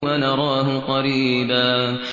وَنَرَاهُ قَرِيبًا